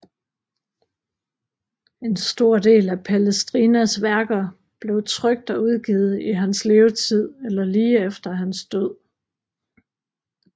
En stor del af Palestrinas værker blev trykt og udgivet i hans levetid eller lige efter hans død